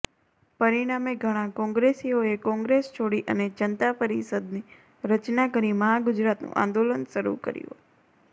પરિણામે ઘણાં કોંગ્રેસીઓએ કોંગ્રેસ છોડી અને જનતા પરિષદની રચના કરી મહાગુજરાતનું આંદોલન શરૂ કર્યું